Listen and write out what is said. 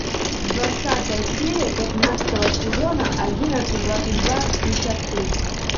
двадцатая серия пятнадцатого сезона одиннадцать двадцать два шестьдесят три